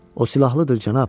O silahlıdır, cənab.